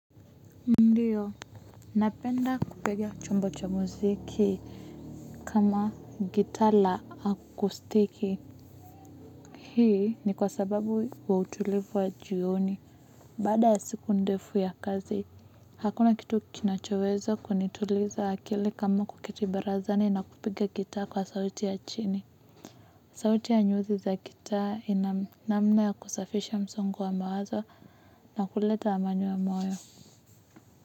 Ndio napenda kupiga chombo cha muziki kama gitaa la akustiki hii ni kwa sababu ya utulivu wa jioni bada ya siku ndefu ya kazi hakuna kitu kinachowezo kunituliza akili kama kuketi barazani na kupiga gitaa kwa sauti ya chini sauti ya nyuzi za gitaa ina namna ya kusafisha msongo wa mawazo na kuleta amani wa moyo.